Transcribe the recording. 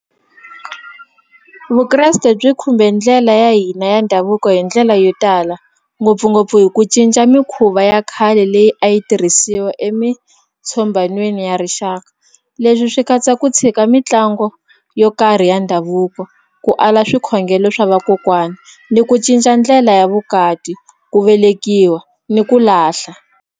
Vukreste byi khumbe ndlela ya hina ya ndhavuko hi ndlela yo tala ngopfungopfu hi ku cinca mikhuva ya khale leyi a yi tirhisiwa emitshombhanweni ya rixaka leswi swi katsa ku tshika mitlangu yo karhi ya ndhavuko ku ala swikhongelo swa vakokwani ni ku cinca ndlela ya vukati ku velekiwa ni ku lahla.